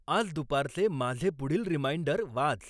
आज दुपारचे माझे पुढील रिमाइंडर वाच